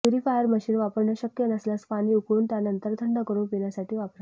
purifier machine वापरणे शक्य नसल्यास पाणी उकळून त्यानंतर थंड करून पिण्यासाठी वापरा